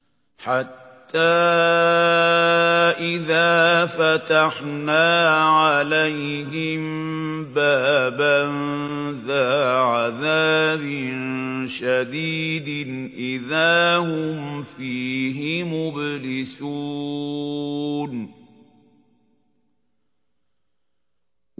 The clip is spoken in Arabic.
حَتَّىٰ إِذَا فَتَحْنَا عَلَيْهِم بَابًا ذَا عَذَابٍ شَدِيدٍ إِذَا هُمْ فِيهِ مُبْلِسُونَ